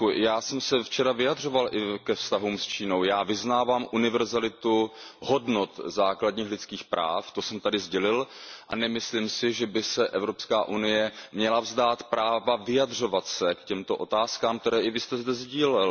Já jsem se včera vyjadřoval i ke vztahům s Čínou, já vyznávám univerzalitu hodnot základních lidských práv, to jsem tady sdělil a nemyslím si, že by se Evropská unie měla vzdát práva vyjadřovat se k těmto otázkám, které jste i vy zde sdílel.